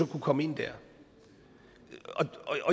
kunne komme ind der